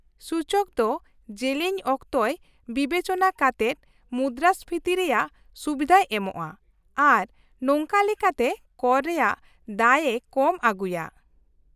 -ᱥᱩᱪᱚᱠ ᱫᱚ ᱡᱮᱞᱮᱧ ᱚᱠᱛᱚᱭ ᱵᱤᱵᱮᱪᱚᱱᱟ ᱠᱟᱛᱮᱫ ᱢᱩᱫᱽᱨᱟᱹᱥᱯᱷᱤᱛᱤ ᱨᱮᱭᱟᱜ ᱥᱩᱵᱤᱫᱷᱟᱭ ᱮᱢᱚᱜᱼᱟ, ᱟᱨ ᱱᱚᱝᱠᱟ ᱞᱮᱠᱟᱛᱮ ᱠᱚᱨ ᱨᱮᱭᱟᱜ ᱫᱟᱹᱭ ᱮ ᱠᱚᱢ ᱟᱹᱜᱩᱭᱟ ᱾